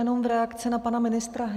Jenom v reakci na pana ministra.